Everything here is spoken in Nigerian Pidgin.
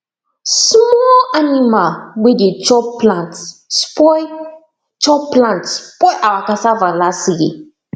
small animal wey de chop plant spoil chop plant spoil our cassava last year